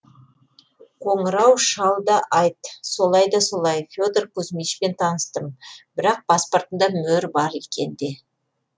қоңырау шал да айт солай да солай федор кузьмичпен таныстым бірақ паспортында мөр бар екен де